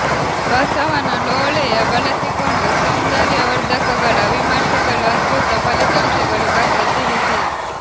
ಬಸವನ ಲೋಳೆಯ ಬಳಸಿಕೊಂಡು ಸೌಂದರ್ಯವರ್ಧಕಗಳ ವಿಮರ್ಶೆಗಳು ಅದ್ಭುತ ಫಲಿತಾಂಶಗಳು ಬಗ್ಗೆ ತಿಳಿಸಿ